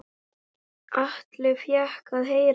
Atli fékk að heyra það.